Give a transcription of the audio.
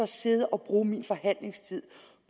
sidde og bruge min forhandlingstid